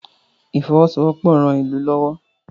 ifowosowopo rán ilú lówó